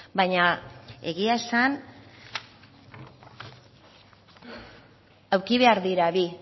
baina egia esan eduki behar dira bi